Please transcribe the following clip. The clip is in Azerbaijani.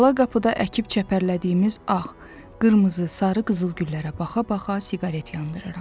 Ala qapıda əkib çəpərlədiyimiz ağ, qırmızı, sarı qızıl güllərə baxa-baxa siqaret yandırıram.